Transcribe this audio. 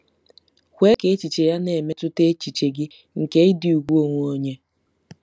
Kwe ka echiche ya na-emetụta echiche gị nke ịdị ùgwù onwe onye.